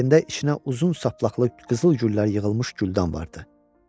Əlində içinə uzun saplaqlı qızıl güllər yığılmış güldan vardı.